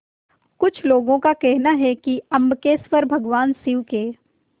कुछ लोगों को कहना है कि अम्बकेश्वर भगवान शिव के